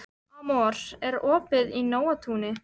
Amor, er opið í Nóatúni?